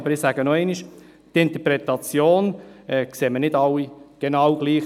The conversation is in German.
Aber, ich sage noch einmal: Die Interpretation ist nicht bei allen dieselbe.